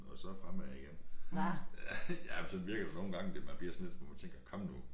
Og så fremad igen. Ja men sådan virker det nogle gange det man bliver sådan lidt hvor man tænker kom nu